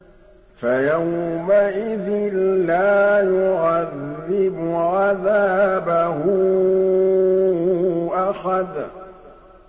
فَيَوْمَئِذٍ لَّا يُعَذِّبُ عَذَابَهُ أَحَدٌ